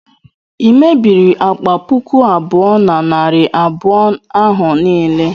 i mebiiri akpa puku abuo na narị abụọ ahụ niile?